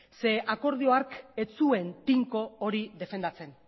ze akordio hark ez zuen tinko hori defendatzen